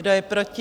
Kdo je proti?